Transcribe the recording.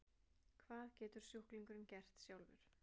Hvað getur sjúklingurinn gert sjálfur?